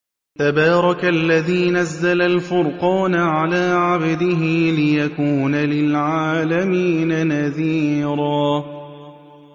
تَبَارَكَ الَّذِي نَزَّلَ الْفُرْقَانَ عَلَىٰ عَبْدِهِ لِيَكُونَ لِلْعَالَمِينَ نَذِيرًا